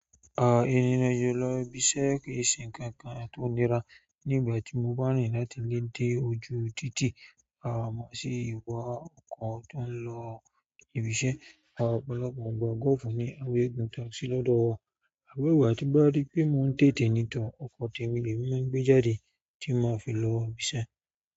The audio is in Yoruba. Ah, ìrìn ajọ lọ ibiṣẹ́ kìí ṣe nǹkan kan tó nira. Ní ìgbà tí mo bá rìn láti lé dé ojú títì, ah, mo sì wọ ọkọ̀ tó ń lọ ibi iṣẹ́. Ah, ọ̀pọ̀lọpọ̀ àwọn gọ́ọ̀fù ni a fi ń gùn táàsì lọ́dọ̀ọ́. Níwọ̀n ìgbà tí mo bá rí pé mo dedenidu, ọkọ̀ tèmi ni èmi mo ngbe jáde ti má fi lọ ibi iṣẹ́.